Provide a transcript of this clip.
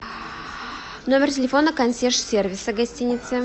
номер телефона консьерж сервиса гостиницы